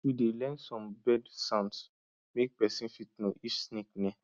we dey learn some bird sounds make persin fit know if snake near